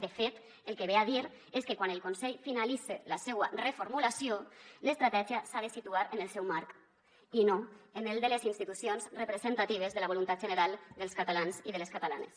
de fet el que ve a dir és que quan el consell finalitze la seua reformulació l’estratègia s’ha de situar en el seu marc i no en el de les institucions representatives de la voluntat general dels catalans i de les catalanes